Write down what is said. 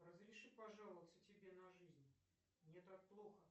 разреши пожаловаться тебе на жизнь мне так плохо